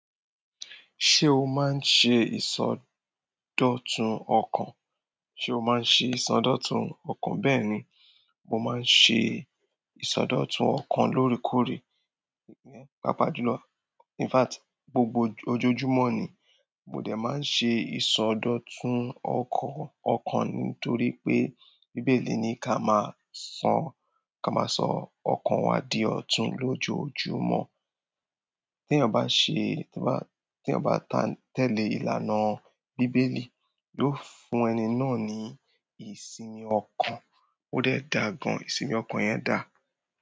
Ṣé o máa ń ṣe ìsọdọ̀tun ọkàn? Ṣé o máa ń ṣe ìsọdọ̀tun ọkàn? Bẹ́ẹ̀ni, mo máa ń ṣe ìsọdọ̀tun ọkàn lóòrèkóòrè. Papa ìjùlọ. In fact, gbogbo ojoojúmọ́ ni mo dè máa ń ṣe ìsọdọ̀tun ọkàn, ọkàn nítorí pé bíbélì ní ká máa sọ, ká máa sọ ọkàn wa di ọ̀tún lójojúmọ́. Tí eeyan bá ṣe, tí eeyan bá, tí eeyan bá tẹ̀lé ìlànà bíbélì, yóò fún ẹni náà ní ìsinmi ọkàn. Ó dẹ̀ dà gan, ìsinmi ọkàn yẹn dà.